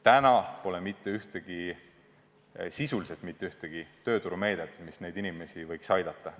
Täna pole sisuliselt mitte ühtegi tööturumeedet, mis neid inimesi võiks aidata.